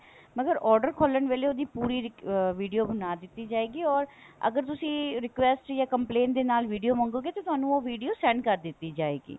ਮਗਰ order ਖੋਲਣ ਵੇਲੇ ਉਹਦੀ ਪੂਰੀ video ਬਣਾ ਦਿੱਤੀ ਜਾਏਗੀ or ਅਗਰ ਤੁਸੀਂ request ਜਾਂ complain ਦੇ ਨਾਲ video ਮੰਗੋਗੇ ਤਾਂ ਤੁਹਾਨੂੰ ਉਹ video send ਕਰ ਦਿੱਤੀ ਜਾਏਗੀ